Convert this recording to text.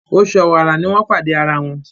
Oṣù Ọ̀wàrà ní wón pàdé àrà wón.